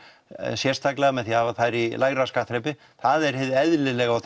sérstaklega með því að hafa þær í lægra skattþrepi það er hið eðlilega og